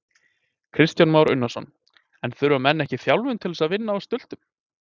Kristján Már Unnarsson: En þurfa menn ekki þjálfun til þess að vinna á stultum?